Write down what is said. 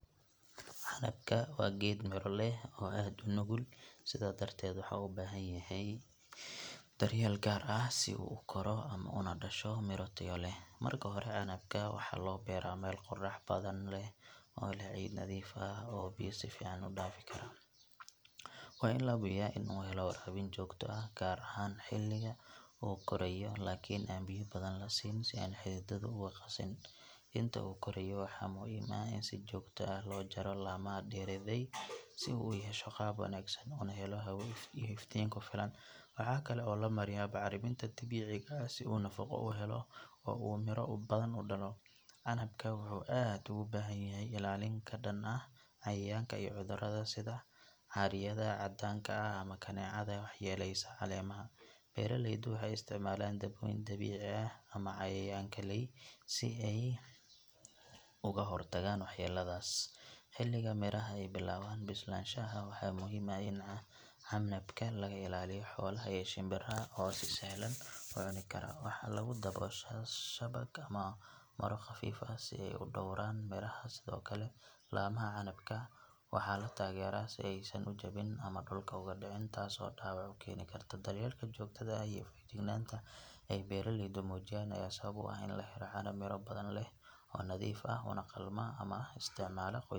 Waa geed miro leh oo aad unugul sidaa darteed wuxuu ubahan yahay dar yeel gaar ah si uu ukoro ama dasho mira tayo leh, marka hore waxaa lagu beera meel qorax badan leh oo leh ciid nadiif ah oo biya si fican udaafi karaan, waa in lahubiyo inuu helo waraabin joogto ah gaar ahaan xiliga uu koraayo lakin biya badan lasiinin si aay xididaha uqasin, inta uu koraayo waxaa muhiim ah in si joogta ah loo jaro lamaha deraday si uu uyesho qaab wanagsan una helo hawo iyo iftiin kufilan, waxaa kale oo lamariyaa bacraminta dabiiciga ah si uu nafaqo uhelo oo uu mira badan udalo, wuxuu aad ugu bahan yahay ilalin kadan ah cayayaanka iyo cudurada sida caryada cadaanka ama kaneecada wax yeleysa caleemaha, beeraleyda waxeey isticmaalaan daboyim dabici ah si aay uga hor tagaan wax yeladaas, xiliga miraha aay bilaban bislasahaha waxaa muhiim ah in laga ilaaliyo xolaha iyo shinbiraha oo si sahlan ucuni Kara, waxaa lagu daboosha shabaq ama mara qafiif ah si aay udooran miraha, sido kale lamaha canabka waxaa latageera si aay san ujabin ama dulka ugu dacin taas oo dawac ukeeni karta dabeelka jogtada ah iyo fajignaanta aay beeraleydu mujiyaan ayaa sabab u ah in lahelo canab mira badan leh oo nadiif ah una qalma in la isticmaalo.